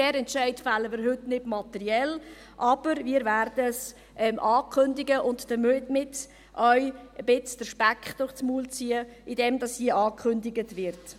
Diesen Entscheid fällen wir heute nicht materiell, aber wir werden dies ankündigen und damit auch ein wenig den Speck durch den Mund ziehen, indem dies hier angekündigt wird.